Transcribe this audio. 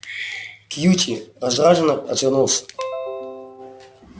кьюти раздражённо отвернулся